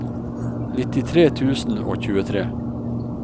nittitre tusen og tjuetre